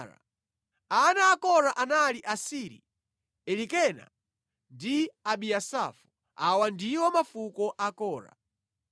Ana a Kora anali Asiri, Elikana ndi Abiasafu. Awa ndiwo mafuko a Kora.